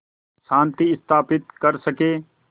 शांति स्थापित कर सकें